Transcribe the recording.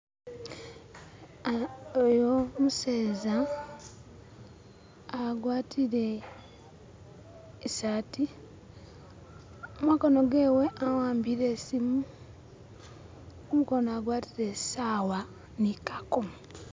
Oyo umuseza agwatile isati, munkono mwewe awambile isimu kumukono agwatile isawa ni kakomo.